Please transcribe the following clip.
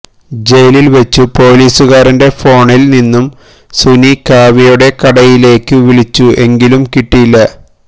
ജയിലില് വച്ചു പോലീസുകാരന്റെ ഫോണില് നിന്നു സുനി കാവ്യയുടെ കടയിലേയ്ക്കു വിളിച്ചു എങ്കിലും കിട്ടിയില്ല